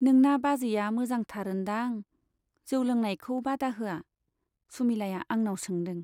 नोंना बाजैया मोजांथार ओन्दां ? जौ लोंनायखौ बादा होआ ? सुमिलाया आंनाव सोंदों।